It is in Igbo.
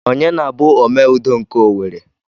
Ọnye na-bụ Ome Udo nke Owerri?